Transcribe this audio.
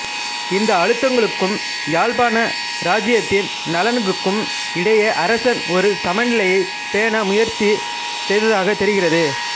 இந்த அழுத்தங்களுக்கும் யாழ்ப்பாண இராச்சியத்தின் நலன்களுக்கும் இடையே அரசன் ஒரு சமநிலையைப் பேண முயற்சி செய்ததாகத் தெரிகிறது